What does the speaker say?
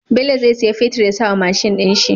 Bello zai siya fetir ya sawa mashin din shi